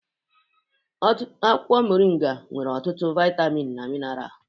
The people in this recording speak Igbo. Akwụkwọ mọrị́nga nwere ọtụtụ vaịtamin na mineralụ.